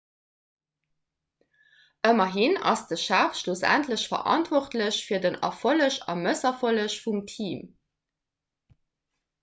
ëmmerhin ass de chef schlussendlech verantwortlech fir den erfolleg a mësserfolleg vum team